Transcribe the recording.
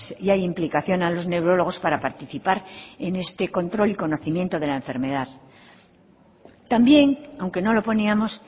y hay implicación a los neurólogos para participar en este control y conocimiento de la enfermedad también aunque no lo poníamos